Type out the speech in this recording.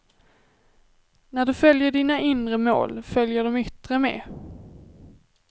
När du följer dina inre mål, följer de yttre med.